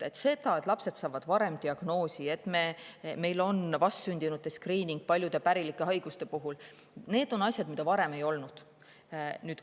Lapsed saavad varem diagnoosi, meil on vastsündinute skriining paljude pärilike haiguste puhul – need on asjad, mida varem ei olnud.